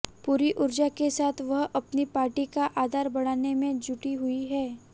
पूरी ऊर्जा के साथ वह अपनी पार्टी का आधार बढ़ाने में जुटी हुई हैं